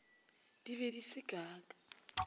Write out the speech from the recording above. di be di se kaka